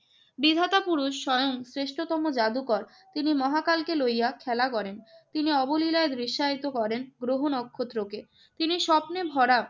বিধাতা পুরুষ স্বয়ং শ্রেষ্ঠতম জাদুকর। তিনি মহাকালকে লইয়া খেলা করেন। তিনি অবলীলায় দৃশ্যায়িত করেন গ্রহ-নক্ষত্রকে। তিনি স্বপ্নে ভরা